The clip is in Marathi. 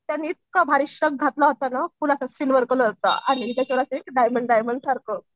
त्यांनी इतका भारी श्रग घातला होत ना फुलांच्या डायमंड डायमंड सारखं.